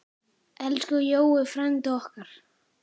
Elsku Jói frændi okkar.